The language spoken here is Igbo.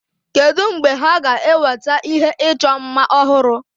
Kedu mgbe ha ga-eweta ihe ịchọ mma ọhụrụ?